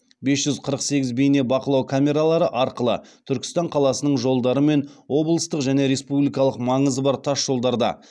бес жүз қырық сегіз бейнебақылау камералары арқылы түркістан қаласының жолдары мен облыстық және республикалық маңызы бар тасжолдарда